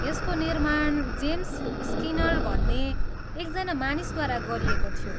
यसको निर्माण James Skinner भन्ने एकजना मानिसद्वारा गरिएको थियो।